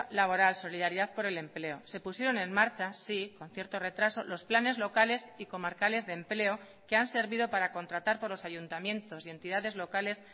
laboral solidaridad por el empleo se pusieron en marcha sí con cierto retraso los planes locales y comarcales de empleo que han servido para contratar por los ayuntamientos y entidades locales